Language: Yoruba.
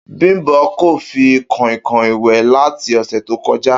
Bím̀bó̩ kò fi kò̩ìnkò̩ìn wè̩ láti ò̩sè̩ tó ko̩já